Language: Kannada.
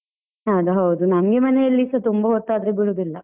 ಅದ್ ಹೌದು, ನಮ್ಗೆ ಮನೆಯಲ್ಲಿಸ ತುಂಬಾ ಹೊತ್ತಾದ್ರೆ ಬಿಡುದಿಲ್ಲ.